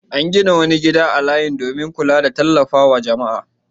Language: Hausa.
An gina wani gida a layin domin kula da tallafa wa jama'a.